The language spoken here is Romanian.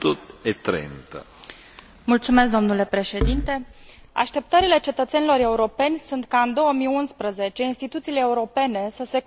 Așteptările cetățenilor europeni sunt ca, în 2011, instituțiile europene să se concentreze asupra creării de noi locuri de muncă și a Europei sociale.